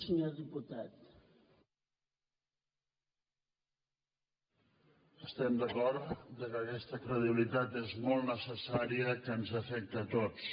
estem d’acord que aquesta credibilitat és molt necessària que ens afecta a tots